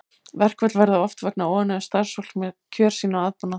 Verkföll verða oft vegna óánægju starfsfólks með kjör sín og aðbúnað.